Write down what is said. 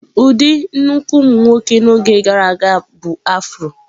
Ụdị nnukwu ụmụ nwoke n'oge gara aga bụ afro.